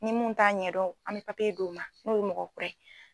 Ni mun t'a ɲɛdɔn an bɛ d'o ma n'o ye mɔgɔ kura ye.